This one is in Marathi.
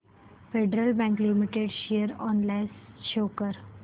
federal Bank Limited share analysis show कर